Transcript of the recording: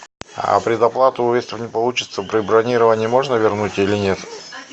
а предоплату если не получится при бронировании можно вернуть или нет